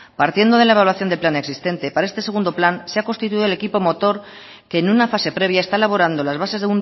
partiendo de la evaluación de plan existente para este segundo plan se ha constituido el equipo motor que en una fase previa está elaborando las bases